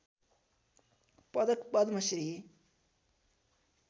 पदक पद्म श्री